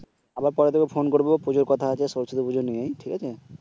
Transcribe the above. আবার পরে তোকে ফোন করবো প্রচুর কথা সরস্বতী পুজো নিয়ে ঠিক আছে